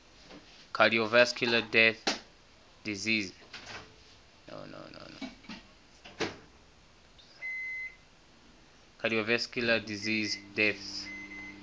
cardiovascular disease deaths